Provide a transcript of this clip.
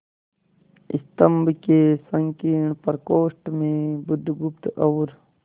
स्तंभ के संकीर्ण प्रकोष्ठ में बुधगुप्त और